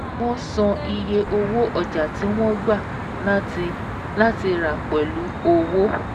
Wọ́n san iye owó ọjà tí wọ́n gba láti láti rà pẹ̀lú owó